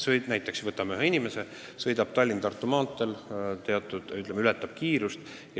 Võtame näiteks ühe inimese, kes sõidab Tallinna–Tartu maanteel ja ületab kiirust.